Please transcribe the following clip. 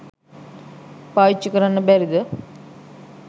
පාවිච්චි කරන්න බැරිද?